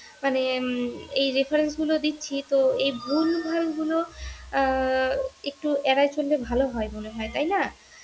মানে এই reference গুলো দিচ্ছি তো এই ভুল ভাল গুলো আহ একটু এড়ায় চললে ভালো হয় মনে হয় তাইনা?